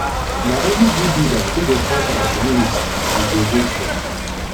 na only good leader wey go help our community we go vote for